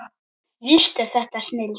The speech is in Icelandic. Víst er þetta snilld.